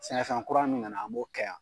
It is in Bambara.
Sɛnɛfɛn kura min na na an b'o kɛ yan.